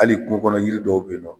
Hali kungo kɔnɔ yiri dɔw bɛ yen nɔ